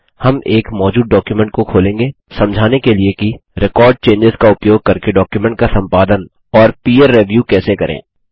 हम एक मौजूद डॉक्युमेंट को खोलेंगे समझाने के लिए कि रेकॉर्ड चेंजों का उपयोग करके डॉक्युमेंट का संपादन और पीर रिव्यू कैसे करें